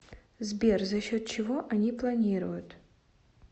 сбер за счет чего они планируют